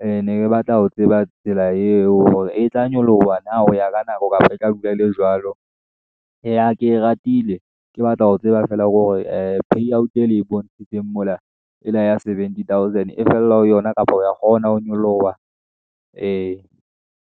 E ne ke batla ho tseba tsela eo hore e tla nyoloha na, hoya ka nako kapa e tla dula e le jwalo . E ya ke ratile ke batla ho tseba feela hore, ee pay out e le e bontshitseng mola, e la ya seventy thousand e fella ho yona, kapa re ya kgona ho nyoloha ee.